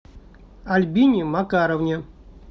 альбине макаровне